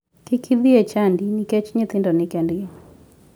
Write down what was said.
Kik idhi e chadi nikech nyithindo ni kendgi.